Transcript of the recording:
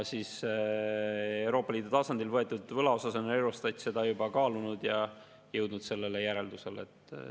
Euroopa Liidu tasandil võetud võla puhul on Eurostat seda juba kaalunud ja jõudnud sellele järeldusele.